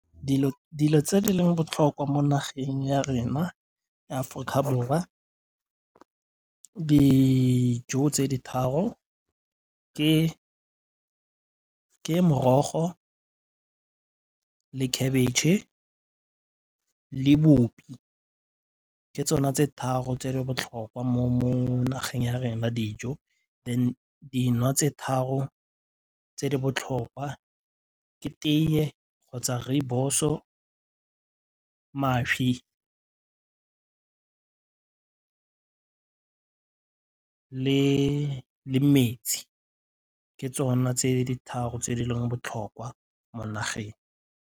Dilo tse di leng botlhokwa mo nageng ya rena ya Aforika Borwa dijo tse di tharo ke morogo, khabetšhe le boupi ke tsona tse tharo tse di botlhokwa mo nageng ya rena dijo, then dino tse tharo tse di botlhokwa ke tee kgotsa rooibos-o, mašwi le metsi ke tsona tse di tharo tse di leng botlhokwa mo nageng.